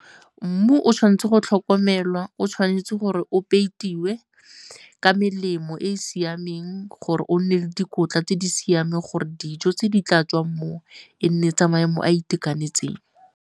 Mmu o tshwanetse go tlhokomelwa, o tshwanetse gore o peitiwe ka melemo e e siameng gore o nne le dikotla tse di siameng gore dijo tse di tla tswang moo e nne tsa maemo a a itekanetseng.